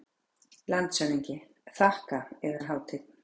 LANDSHÖFÐINGI: Þakka, Yðar Hátign.